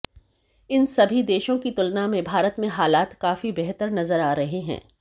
इन सभी देशों की तुलना में भारत में हालात काफी बेहतर नजर आ रहे हैं